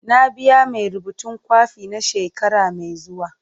Na biya mai rubutun kwafi na shekara mai zuwa.